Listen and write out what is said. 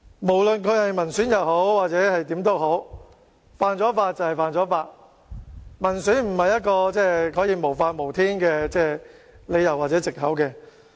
無論有關議員是否民選議員，犯法便是犯法，民選不是一個可以無法無天的理由或藉口。